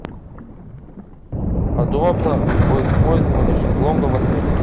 подробно о использовании шезлонга в отеле